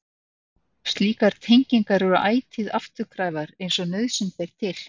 Slíkar tengingar eru ætíð afturkræfar eins og nauðsyn ber til.